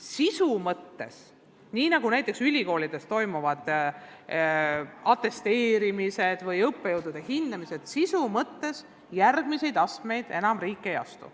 Sisu mõttes – nii nagu näiteks ülikoolides toimuvad atesteerimised või õppejõudude hindamised –, selle sisu mõttes järgmisi samme riik enam ei astu.